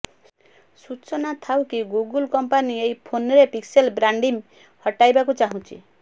ସୂଚନା ଥାଉକି Google company ଏହି ଫୋନ୍ରେ ପିକ୍ସେଲ୍ ବ୍ରାଣ୍ଡିଂ ହଟାଇବାକୁ ଚାହୁଁଛି